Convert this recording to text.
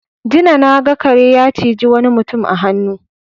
Jina na ga kare ya ciji wani mutum a hannu.